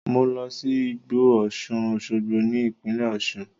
Mo lọ sí igbó Osun-oshogbo ní ìpínlẹ̀ Osun.